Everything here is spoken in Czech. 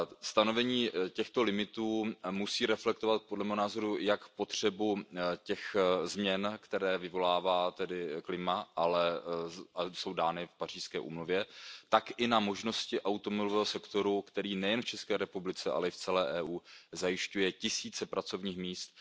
Stanovení těchto limitů musí reflektovat podle mého názoru jak potřebu těch změn, které vyvolává tedy klima a jsou dány v Pařížské úmluvě, tak i možnosti automobilového sektoru, který nejen v České republice, ale i v celé EU zajišťuje tisíce pracovních míst.